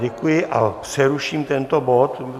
Děkuji a přeruším tento bod.